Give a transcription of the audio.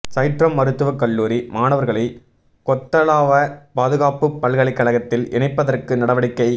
சைற்றம் மருத்துவக் கல்லூரி மாணவர்களை கொத்தலாவ பாதுகாப்புப் பல்கலைக்கழகத்தில் இணைப்பதற்கு நடவடிக்கை